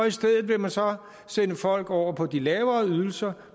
i stedet vil man så sende folk over på de lavere ydelser